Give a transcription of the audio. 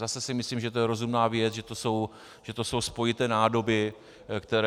Zase si myslím, že to je rozumná věc, že to jsou spojité nádoby, které .